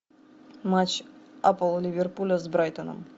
матч апл ливерпуля с брайтоном